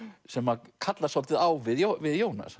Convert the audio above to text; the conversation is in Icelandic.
sem að kallast svolítið á við Jónas